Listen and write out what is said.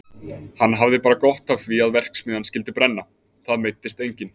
Hann hafði bara gott af því að verksmiðjan skyldi brenna, það meiddist enginn.